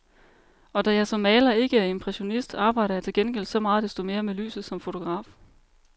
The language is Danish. Og da jeg som maler ikke er impressionist, arbejder jeg til gengæld så meget desto mere med lyset som fotograf.